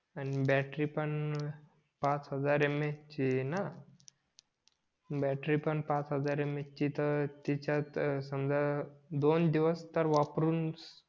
आणि बॅटरी पण फाच हजार यम यच ची आहेत बॅटरी पण पाच हजार यम यचं ची तर तिच्यात समझा दोन दिवस तर वापरून